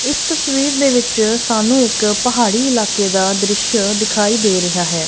ਇਸ ਤਸਵੀਰ ਦੇ ਵਿੱਚ ਸਾਨੂੰ ਇੱਕ ਪਹਾੜੀ ਇਲਾਕੇ ਦਾ ਦ੍ਰਿਸ਼ ਦਿਖਾਈ ਦੇ ਰਿਹਾ ਹੈ।